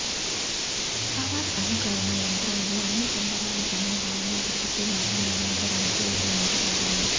power అనుకరణ యంత్రాలు అన్ని కండరాల సమూహాలను అభివృద్ధి మరియు నిర్మించడానికి రూపొందించబడ్డాయి